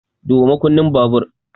Duba makunnin babur!